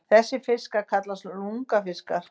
Þessir fiskar kallast lungnafiskar.